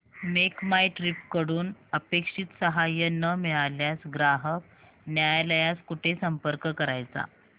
make My Trip कडून अपेक्षित सहाय्य न मिळाल्यास ग्राहक न्यायालयास कुठे संपर्क करायचा